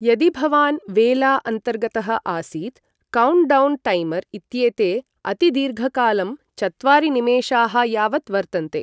यदि भवान् वेला अन्तर्गतः आसीत्, कौण्ट्डौन् टैमर् इत्येते अति दीर्घकालं चत्वारि निमेषाः यावत् वर्तन्ते।